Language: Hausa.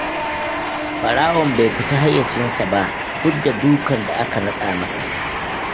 Ɓarawon bai fita hayyacinsa ba, duk da dukan da aka naɗa masa.